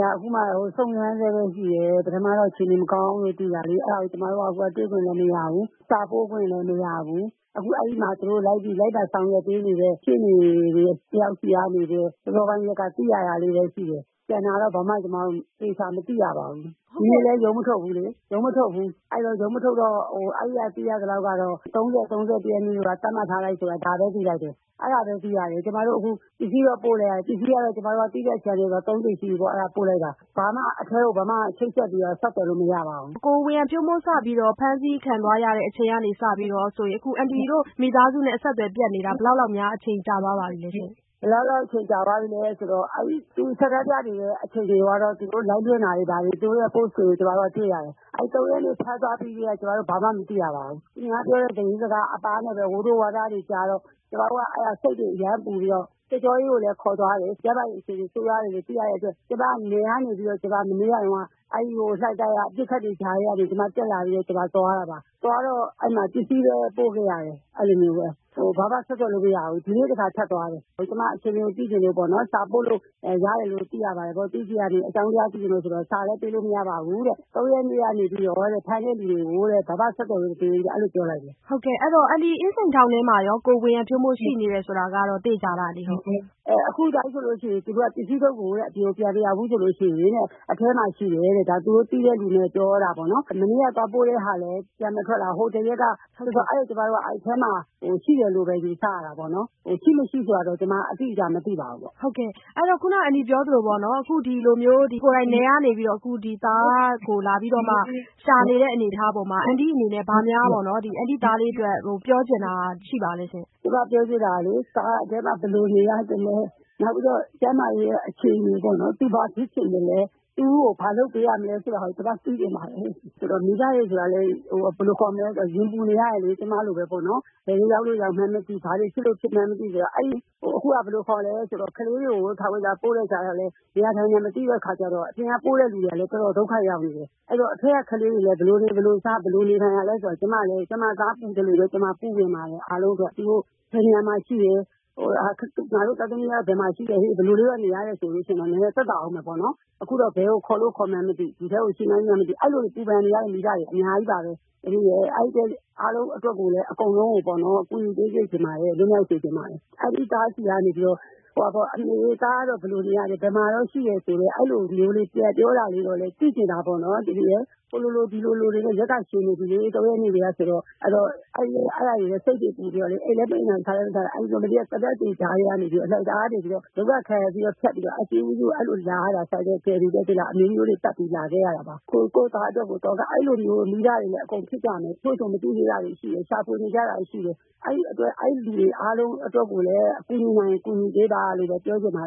က အခုမှ စုံစမ်းဆဲပဲရှိတယ်။ ပထမတော့ အခြေအနေမကောင်းဘူးလို့ သိတာလေ။ အဲဒါကို ကျမတို့ကတွေ့ခွင့်လည်း မရဘူး၊ စာပို့ခွင့်လည်း မရဘူး။ အဲဒီမှာ လိုက်ပါ ဆောင်ရွက်ပေးနေတဲ့ ရှေ့နေတယောက်ဆီကနေပဲ စောစောပိုင်းရက်က သိရတာလေးပဲရှိတယ်။ ကျန်တာတော့ ဘာမှ ကျမတို့ သေချာ မသိရပါဘူး။ ဒီနေ့လည်း ရုံးမထုတ်ဘူးလေ။ ရုံးမထုတ်တော့ အဲဒီက သိရသလောက်တော့ ၃၀၊ ၃၁ ရက်နေ့ကိုတော့ သတ်မှတ်ထားတယ်ဆိုတာ ဒါပဲ သိလိုက်တယ်။ အဲဒါပဲ သိရတယ်။ ခု ကျမတို့ ပစ္စည်းတော့ပို့တယ်။ ၃ ကြိမ်ရှိပြီပေါ့... ပို့လိုက်တာ။ ဘာမှ အထဲကို ချိတ်ဆက်ပြီးတော့ ဘာမှ ဆက်သွယ်လို့မရပါဘူး။ ကိုဝေယံဖြိုးမိုး စပြီးတော့ ဖမ်းဆီးခံသွားရတဲ့အချိန်ကနေစပြီးတော့ဆိုရင် အခုအန်တီတို့ မိသားစုနဲ့ အဆက်သွယ်ပျက်နေတာ ဘယ်လောက်လောက်များ အချိန်ကြာသွားပါပြီလဲရှင့်။ ဘယ်လောက်လောက်အချိန်ကြာသွားပြီလဲဆိုတော့ သူဆန္ဒပြနေတဲ့အချိန်တုန်းကတော့ သူ live လွှင့်တာတွေ၊ ဘာတွေ၊ သူတို့ရဲ့ post တွေကို ကျမတို့က တွေ့ရတယ်။ ၃ ရက်နေ့ ဖမ်းသွားပြီးကတည်းက ကျမတို့ ဘာမှ မသိရပါဘူး။ သူများပြောတဲ့ သတင်းစကားအပါးနဲ့ပဲ ဝိုးတိုးဝါးတားတွေ ကြားတော့ ကျမတို့က စိတ်တွေအရမ်းပူပြီးတော့ စစ်ကြောရေးကိုလည်းခေါ်သွားတယ်။ ကျန်းမာရေးအခြေအနေ ဆိုးရွားနေပြီဆိုတာ သိရတဲ့အတွက် ကျမနယ်ကနေပြီးတော့ မနေ့ကတုန်းက အဲဒီလှိုင်သာယာအပစ်အခတ်တွေကြားထဲက ကျမ တက်လာပြီးတော့ ကျမသွားတာပါ။ သွားတော့ အဲဒီမှာ ပစ္စည်းပဲ ပို့ခဲ့ရတယ်။ ဘာမှဆက်သွယ်လို့မရဘူး။ ဒီနေ့တခါ ထပ်သွားတယ်။ ကျမအခြေအနေကို သိချင်လို့ပေါ့နော်။ စာပို့လို့ရတယ်လို့ သိရပါတယ်ပေါ့။ သူ့ဆီကနေ အကြောင်းသိချင်လို့ဆိုတော့ စာလည်း ပေးလို့မရပါဘူးတဲ့ ၃ ရက်နေ့ကနေပြီးတော့တဲ့ ဖမ်းတဲ့သူတွေကို ဘာမှ ဆက်သွယ်ခွင့်မပေးဘူးလို့ အဲဒီလိုပြောလိုက်တယ်။ ဟုတ်ကဲ့ အဲဒီတော့ အင်းစိန်ထောင်ထဲမှာရော ကိုဝေယံဖြိုးမိုး ရှိနေတယ်ဆိုတာကတော့ သေချာလားအန်တီ။ အခုအတိုင်းဆိုလို့ရှိရင် သူတို့က ပစ္စည်းထုပ်ကို အပြင်ကို ပြန်မရောက်ဘူးဆိုလို့ရှိရင်တဲ့ အထဲမှာရှိတယ်တဲ့။ ဒါသူတို့သိတဲ့သူတွေပြောတာပေါ့နော်။ မနေ့ကသွားပို့တဲ့ဟာ လည်း ပြန်မထွက်လာဘူး။ အဲဒီတော့ ကျမတို့က အဲ့အထဲမှာ ရှိတယ်လို့ပဲ ယူဆရတာပေါ့နော်။ ရှိ၊ မရှိဆိုတာကတော့ ကျမ အတိအကျမသိပါဘူး။ အဲဒီတော့ ခုနက အန်တီပြောသလိုပေါ့နော်။ အခုဒီလိုမျိုး ကိုယ်တိုင်နယ်ကနေပြီးတော့ အခုသားကိုလာပြီးတော့မှ ရှာနေတဲ့အနေအထားပေါ်မှာ အန်တီအနေနဲ့ ဘာများ အန်တီ့သားလေးအတွက် ပြောချင်တာရှိပါသလဲရှင့်။ ကျမပြောချင်တာကလေ... သားက အထဲမှာ ဘယ်လိုနေရသလဲ။ နောက်ပြီးတော့ ကျန်းမာရေးအခြေအနေပေါ့နော်... သူ ဘာဖြစ်ချင်သလဲ။ သူ့ကို ဘာလုပ်ပေးရမလဲဆိုတာကို ကျမ သိချင်ပါတယ်။ မိဘတွေဆိုတာကလည်း ရင်ပူနေရတယ်လေ... ကျမလိုပဲပေါ့နော်။ ဘယ်တွေရောက်လို့ ရောက်မှန်းမသိ၊ ဘာတွေ ဖြစ်လို့ ဖြစ်မှန်းမသိဆိုတော့... အခုက ဘယ်လိုခေါ်လဲဆိုတော့ ကလေးတွေကို ထောင်ဝင်စာပို့လိုက်တာကလည်း နေတာထိုင်တာ မသိတဲ့အခါကျတော့ အပြင်က ပို့တဲ့သူတွေကလည်း တော်တော်ဒုက္ခရောက်နေတယ်။ အဲဒီတော့ အထဲကကလေးတွေကလည်း ဘယ်လိုနေ၊ ဘယ်လိုစား၊ ဘယ်လိုနေထိုင်ရသလဲဆိုတာ ကျမလည်း ကျမသားပူပင်သလိုပဲ ပူပင်ပါတယ် အားလုံးအတွက်။ သူတို့ ဘယ်နေရာမှာ ရှိတယ်၊ ငါတို့ သားသမီးတွေ ဘယ်မှာရှိတယ်ဟေ့၊ ဘယ်လိုမျိုးနေရတယ်ဆိုလို့ရှိရင်တော့ နည်းနည်း သက်သာဦးမယ်ပေါ့နော်။ အခုတော့ ဘယ်ကို ခေါ်လို့ ခေါ်မှန်းမသိ၊ ဒီထဲမှာ ရှိမှန်း၊ မရှိမှန်း မသိ။ အဲဒီလိုမျိုး ပူပန်နေရတဲ့ မိဘတွေ အများကြီးပါပဲ။ အဲဒီအတွက်ကို အားလုံးအတွက် အကုန်လုံးကို ကူညီပေးစေချင်ပါတယ်။ လွတ်မြောက်စေချင်ပါတယ်။ အန်တီ −သားဆီကနေပြီးတော့ သားကတော့ ဘယ်လိုနေနေရတယ်၊ ဘယ်မှာရှိတယ်ဆိုတာကို အဲဒီလိုမျိုးလေးပြန်ပြောတာကို သိချင်တာပေါ့နော်။ ဟိုလိုလိုဒီလိုလိုတွေနဲ့ ရက်ကရှည်နေပြီလေ ၃ ရက်နေ့ကတည်းကဆိုတော့ အဲဒါတွေနဲ့ စိတ်တွေပူပြီးတော့ အိပ်လည်းမအိပ်နိုင်၊ စားလည်း မစားနိုင်။ အဲဒါကြောင့်မို့ မနေ့က သေနတ်တွေကြားထဲကနေ လှိုင်သာယာကနေပြီးတော့ ဒုက္ခခံပြီးတော့ ထွက်ပြီးတော့ ဆိုင်ကယ်ကယ်ရီနဲ့ အမျိုးမျိုးတွေပတ်ပြီးတော့ အကျဉ်းဦးစီးဌာနကို လာခဲ့ရတာ ကိုယ့်သားအတွက်ကို။ အခု အဲဒီလိုမျိုးလည်း မိဘတွေလည်း အကုန်လုံးဖြစ်ကြလိမ့်မယ်၊ တချို့ဆို မသိသေးတာတွေလည်းရှိလိမ့်မယ်၊ ရှာဖွေနေကြတာတွေရှိတယ်... အဲဒီအတွက် အဲဒီလူတွေအားလုံးအတွက်ကိုလည်း ကူညီနိုင်ရင် ကူညီပေးပါလို့ပဲ ပြောချင်ပါ